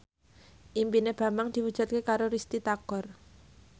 impine Bambang diwujudke karo Risty Tagor